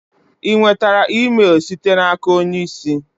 Ị nwetara email site n'aka onye isi?